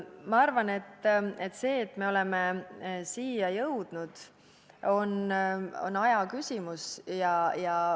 Minu arvates see, et me oleme siia jõudnud, on aja küsimus.